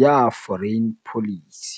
ya Foreign Policy.